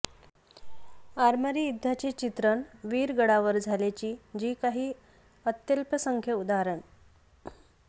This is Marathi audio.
आरमारी युद्धाचे चित्रण वीरगळावर झाल्याची जी काही अत्यल्पसंख्य उदा